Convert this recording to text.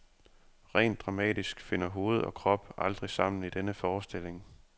Rent dramatisk finder hoved og krop aldrig sammen i denne forestilling.